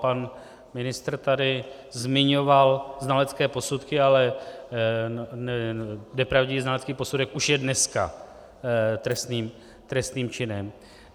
Pan ministr tady zmiňoval znalecké posudky, ale nepravdivý znalecký posudek už je dneska trestným činem.